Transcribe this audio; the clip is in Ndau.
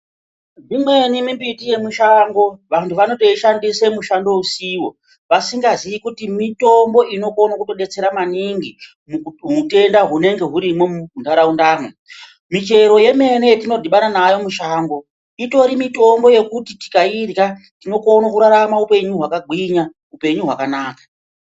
Imweni mimbiti yemushango vantu vanotoidhandise mushando usiwo vantu vasingaziye kuti mitombo inokone kutodetsera maningi muhutenda hunenge hurimwo munharaundamwo, michero yemene yetinodhibana nayo mushango itori mitombo yekuti tikairya tinokone kurarama hupenyu hwakagwinya hupenyu hwakanaka.